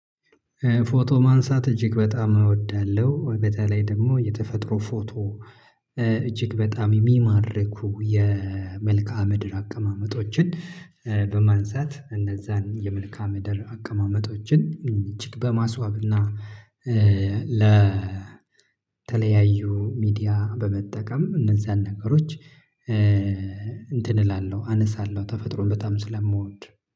ፎቶ ማንሳት እጅግ በጣም እወዳለሁ። በተለይ ደግሞ የተፈጥሮ ፎቶ እጅግ በጣም የሚማርኩ በማስዋብናድር አቀማመጦችን በማንዛት እነዛን የመልካም ምድር አቀማመጦችን እጅግ በማስዋብና ለተለያዩ ሚዲያ በመጠቀም እነዛን ነገሮች። እንትን እላለሁ አነሳለሁ ተፈጥሮን በጣም ስለምወድ